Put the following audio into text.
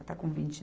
Está com vinte